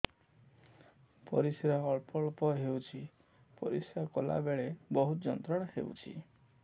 ପରିଶ୍ରା ଅଳ୍ପ ଅଳ୍ପ ହେଉଛି ପରିଶ୍ରା କଲା ବେଳେ ବହୁତ ଯନ୍ତ୍ରଣା ହେଉଛି